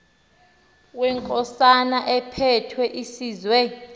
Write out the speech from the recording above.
wenkosana ephethe isizwe